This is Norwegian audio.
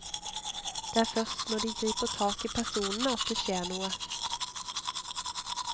Det er først når de griper tak i personene at det skjer noe.